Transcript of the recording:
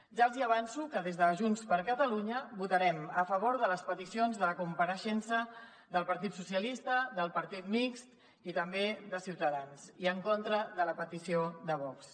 ja els hi avanço que des de junts per catalunya votarem a favor de les peticions de compareixença del partit socialista del grup mixt i també de ciutadans i en contra de la petició de vox